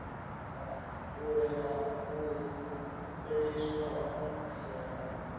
kule u fheliswa ha tsengo